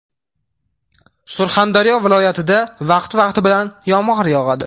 Surxondaryo viloyatida vaqti-vaqti bilan yomg‘ir yog‘adi.